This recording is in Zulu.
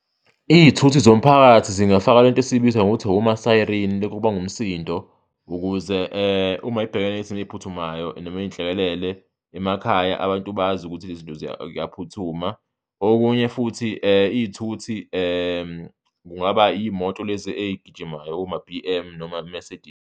Iy'thuthi zomphakathi zingafaka lento esiyibiza ngokuthi oma-siren, lokhu okubanga umsindo ukuze uma zibhekene nezimo ey'phuthumayo noma iy'nhlekelele emakhaya, abantu bazi ukuthi lezi zinto kuyaphuthuma. Okunye futhi iy'thuthi kungaba iy'moto lezi ey'gijimayo, oma-B_M noma-Mercedes.